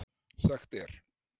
Sagt er